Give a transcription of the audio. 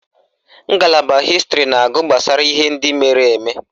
Ngalaba Hịstịrị na-agụ gbasara ihe ndị mere eme